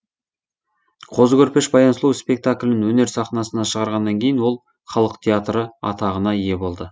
қозы көрпеш баян сұлу спектаклін өнер сахнасына шығарғаннан кейін ол халық театры атағына ие болды